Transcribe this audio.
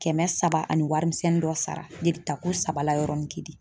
Kɛmɛ saba ani warimisɛnnin dɔ sara , jeli ta ko saba la yɔrɔnin kelen.